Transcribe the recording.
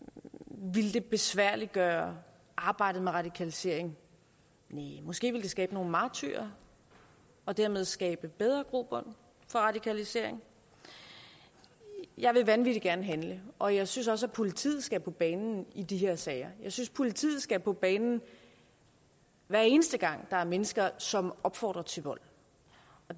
ville det besværliggøre arbejdet med radikaliseringen næh måske ville det skabe nogle martyrer og dermed skabe bedre grobund for radikalisering jeg vil vanvittig gerne handle og jeg synes også at politiet skal på banen i de her sager jeg synes at politiet skal på banen hver eneste gang der er mennesker som opfordrer til vold